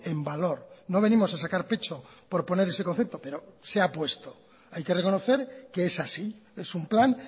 en valor no venimos a sacar pecho por poner ese concepto pero se ha puesto hay que reconocer que es así es un plan